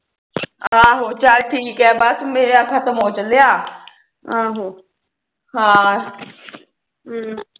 ਆਹੋ ਚੱਲ ਠੀਕੇ ਬਸ ਮੇਰਾ ਖਤਮ ਹੋ ਚੱਲਿਆ